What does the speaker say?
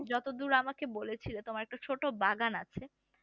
যতদূর আমাকে বলেছিলে তোমার একটা ছোট বাগান আছে